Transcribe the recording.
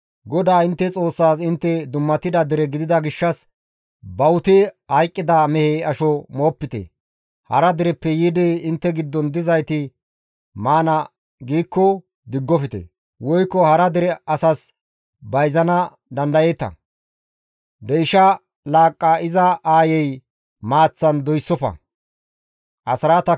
GODAA intte Xoossaas intte dummatida dere gidida gishshas bawuti hayqqida mehe asho moopite; hara dereppe yiidi intte giddon dizayti maana giikko diggofte; woykko hara dere asas bayzana dandayeeta. Deyshsha laaqqa iza aayey maaththan doyssofte.